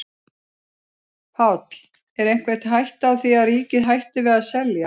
Páll: Er einhver hætta á því að ríkið hætti við að selja?